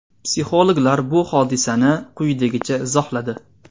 Psixologlar bu hodisani quyidagicha izohladi.